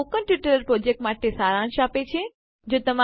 તે spoken tutorial project માટે સારાંશ છે